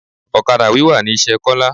Ọ̀kadà wíwà ni iṣẹ́ Kola